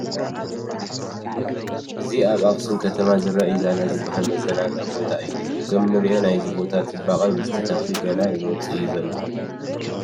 እዚ ኣብ ኣኽሱም ከተማ ዝርከብ ኢዛና ዝበሃል መዘናግዒ ቦታ እዩ፡፡ ከምእንሪኦ ናይዚ ቦታ ፅባቐ ምስቲ ተኽሊ ገና ይወፅእ እዩ ዘሎ፡፡